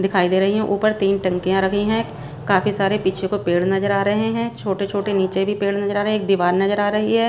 दिखाई दे रही हैं ऊपर तीन टंकियां रखी हैं काफी सारे पीछे को पेड़ नजर आ रहे हैं छोटे-छोटे नीचे भी पेड़ नजर आ रहे एक दीवार नजर आ रही है।